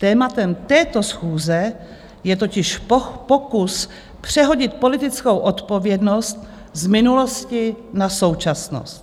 Tématem této schůze je totiž pokus přehodit politickou odpovědnost z minulosti na současnost.